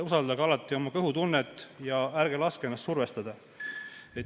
Usaldage alati oma kõhutunnet ja ärge laske ennast survestada.